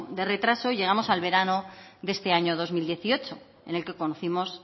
de retraso llegamos al verano de este año dos mil dieciocho en el que conocimos